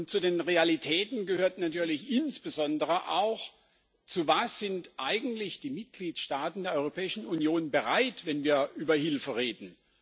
Zu den Realitäten gehört natürlich insbesondere auch Zu was sind eigentlich die Mitgliedstaaten der Europäischen Union bereit, wenn wir über Hilfe reden?